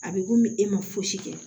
A bɛ komi e ma fosi kɛ